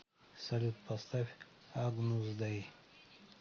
салют поставь агнус дэй